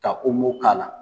Ka k'a la.